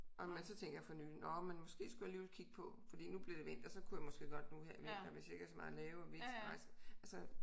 Været med til ting her for nylig nåh men måske skulle jeg alligvel kigge på fordi nu bliver det vinter så kunne jeg måske godt nu her i vinteren hvis jeg ikke har så meget at lave og vi ikke skal rejse altså